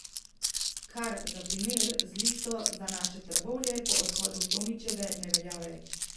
Kar, za primer, z Listo za naše Trbovlje po odhodu Tomićeve ne velja več.